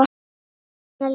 Helena Lind.